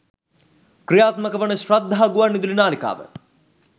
ක්‍රියාත්මක වන ශ්‍රද්ධා ගුවන්විදුලි නාලිකාව